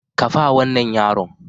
Kafa wannan yaron